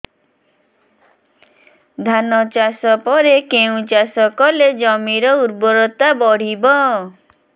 ଧାନ ଚାଷ ପରେ କେଉଁ ଚାଷ କଲେ ଜମିର ଉର୍ବରତା ବଢିବ